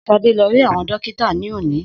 Sade lọ rí àwọn dókítà lónìí.